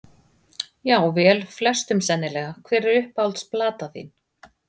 já vel flestum sennilega Hver er uppáhalds platan þín?